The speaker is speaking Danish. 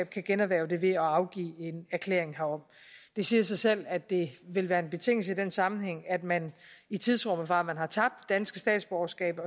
kan generhverve det ved at afgive en erklæring herom det siger sig selv at det vil være en betingelse i den sammenhæng at man i tidsrummet fra man har tabt sit danske statsborgerskab